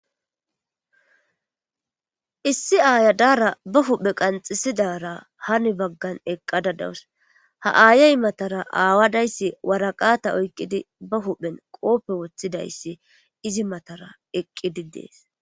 Issi aayadara ba huhphe qanxisidara hani baggan eqqada dawus ha aayey matara aawadayssi waraqata oykqidi ba huphen qoope woththidayssi izi matara eqqidi dees.